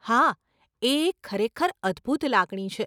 હા, એ એક ખરેખર અદભૂત લાગણી છે.